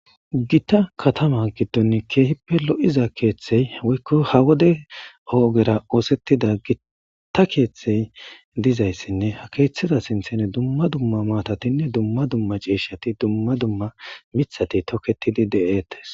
Gita katama giddon keehippe lo7iza keeththey woykko ha wode oogera oosettida gitta keeththey dizayssinne ha keeththida sinthene dumma dumma maatatinne dumma dumma ciishati dumma dumma mithati tokketidi de'eettes.